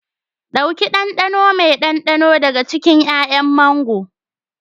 Ɗauki ɗanɗano mai ɗanɗano daga cikin 'ya'yan mango.